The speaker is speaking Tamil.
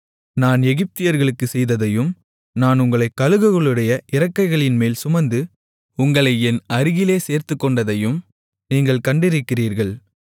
நான் எகிப்தியர்களுக்குச் செய்ததையும் நான் உங்களைக் கழுகுகளுடைய இறக்கைகளின்மேல் சுமந்து உங்களை என் அருகிலே சேர்த்துக்கொண்டதையும் நீங்கள் கண்டிருக்கிறீர்கள்